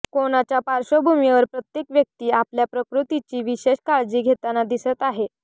कोणाच्या पार्श्वभूमीवर प्रत्येक व्यक्ती आपल्या प्रकृतीची विशेष काळजी घेताना दिसत आहे